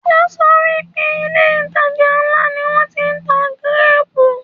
O sọ pé ilé - ìtajà ńlá ni wọn ti ń tà gíréèpù